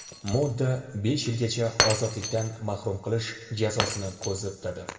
Modda besh yilgacha ozodlikdan mahrum qilish jazosini ko‘zda tutadi.